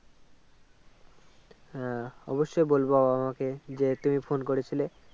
হ্যাঁ অবশ্যই বলবো বাবা মা কে যে তুমি Phone করেছিলে